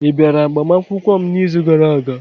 Ị bịara agbamakwụkwọ m n'izu gara-aga?